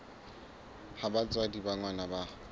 ha batswadi ba ngwana ba